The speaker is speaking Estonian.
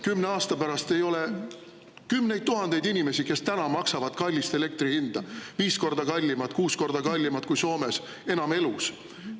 10 aasta pärast ei ole kümneid tuhandeid inimesi, kes täna maksavad kallist elektri hinda, viis korda kallimat, kuus korda kallimat kui Soomes, enam elus.